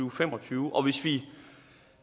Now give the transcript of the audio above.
og fem og tyve og